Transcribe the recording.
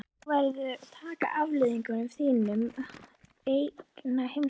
Og þú verður að taka afleiðingunum af þínum eigin heimskupörum.